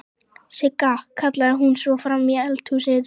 Sigga!, kallaði hún svo fram í eldhúsið.